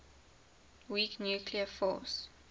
weak nuclear force